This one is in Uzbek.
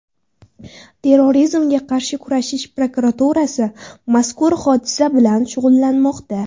Terrorizmga qarshi kurash prokuraturasi mazkur hodisa bilan shug‘ullanmoqda.